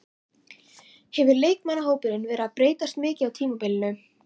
Hefur leikmannahópurinn verið að breytast mikið á tímabilinu?